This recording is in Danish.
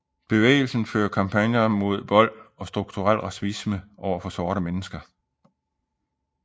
Bevægelsen fører kampagner mod vold og strukturel racisme overfor sorte mennesker